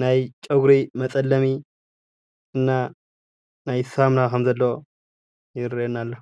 ናይ ጨጉሪ መፀለሚ እና ናይ ሳሙና ከም ዘለዎ ይረአየና ኣሎ፡፡